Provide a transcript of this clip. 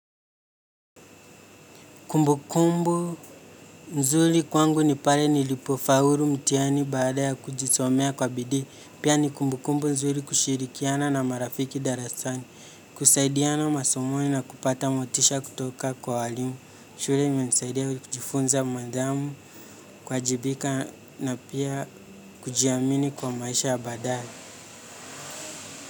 Kumbukumbu mzuri kwangu ni pale nilipofaulu mtihani baada ya kujisomea kwa bidii. Pia ni kumbukumbu nzuri kushirikiana na marafiki darasani. Kusaidiana masomoni na kupata motisha kutoka kwa walimu. Shule imenisaidia kujifunza mandamu kuajibika na pia kujiamini kwa maisha ya baadae.